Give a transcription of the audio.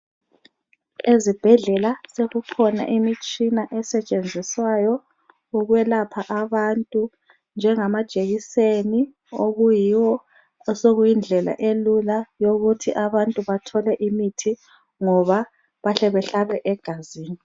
Ezibhedlela sokukhona imitshina esetshenziswayo ukwelapha abantu njengamajekiseni okuyiwo osokuyi ndlela elula yokuthi abantu bathole imithi ngoba bahle behlabe egazini.